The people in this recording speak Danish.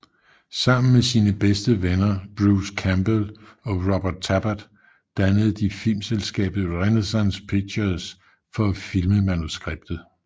Sammen med sine bedste venner Bruce Campbell og Robert Tapert dannede de filmselskabet Renaissance Pictures for at filme manuskriptet